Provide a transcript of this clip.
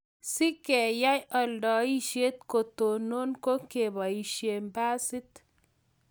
si keyai aladaishet kotonon ko kebaishe basit